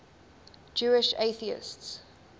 jewish atheists